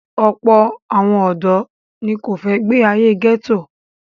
Ọ̀pọ̀ àwọn ọ̀dọ́ ni kò fẹ́ gbé ayé gẹ́tò.